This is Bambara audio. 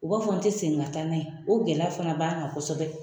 U b'a fɔ n te se kgin ka taa n'a ye . O gɛlɛya fana b'an kan kɔsɔbɛ.